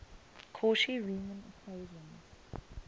cauchy riemann equations